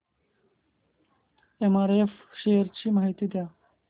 MRF shares ची माहिती द्या